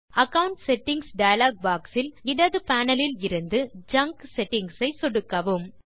account settings dialog box இல் இடது panel இலிருந்து ஜங்க் செட்டிங்ஸ் ஐ சொடுக்கவும்